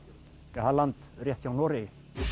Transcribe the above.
það er land rétt hjá Noregi